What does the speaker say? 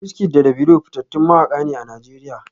WizKid da Davido fitattun mawaka ne a Najeriya